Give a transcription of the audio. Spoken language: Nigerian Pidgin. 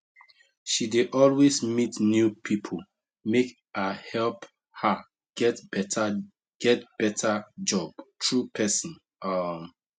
she dey always meet new people make a help her get better get better job through person um